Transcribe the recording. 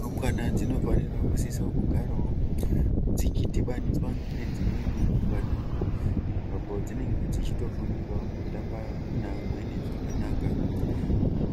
Rumbwana dzinofanira kusisa kugarawo dzichidhibaniswa nedzimweni rumbwana apa dzinenge dzichitofundirawo kutamba neamweni zvakanaka